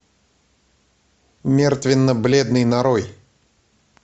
мертвенно бледный нарой